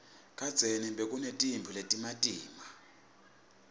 kadzeni bekunetimphi letimatima